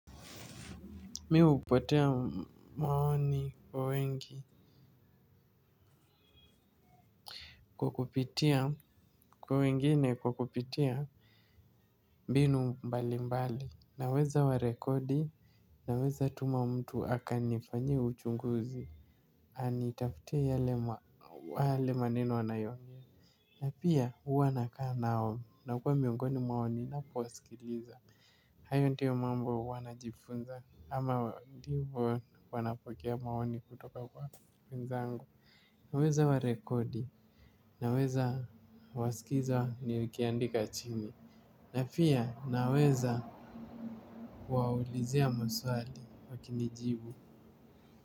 Mimi hupotea maoni kwa wengi kwa kupitia kwa wengine kwa kupitia mbinu mbali mbali naweza wa rekodi naweza tuma mtu akanifanyie uchunguzi. Anitafutie yale mwa wale maneno wanayoongea. Napia huwa nakaa nao na kuwa miongoni mwao ninapowasikiliza. Hayo ndiyo mambo wanajifunza ama ndivo wanapokea maoni kutoka kwa wezangu naweza warekodi, naweza wasikiza niikiandika chini na pia naweza kuwauliza maswali wakinijibu.